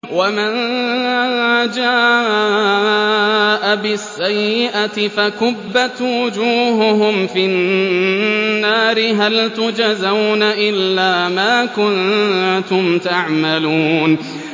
وَمَن جَاءَ بِالسَّيِّئَةِ فَكُبَّتْ وُجُوهُهُمْ فِي النَّارِ هَلْ تُجْزَوْنَ إِلَّا مَا كُنتُمْ تَعْمَلُونَ